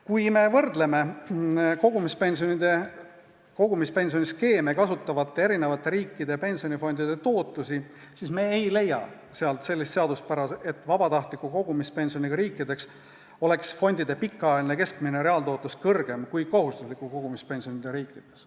Kui me võrdleme kogumispensioniskeeme kasutavate riikide pensionifondide tootlusi, siis me ei leia sellist seaduspära, et vabatahtliku kogumispensioniga riikides oleks fondide pikaajaline keskmine reaaltootlus kõrgem kui kohustusliku kogumispensioniga riikides.